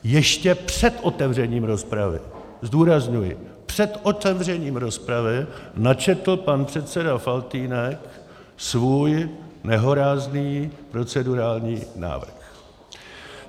Ještě před otevřením rozpravy, zdůrazňuji, před otevřením rozpravy načetl pan předseda Faltýnek svůj nehorázný procedurální návrh.